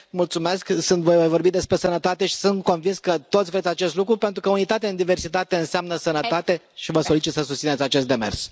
Mulțumesc, voi mai vorbi despre sănătate și sunt convins că toți vreți acest lucru pentru că unitate în diversitate înseamnă sănătate și vă solicit să susțineți acest demers.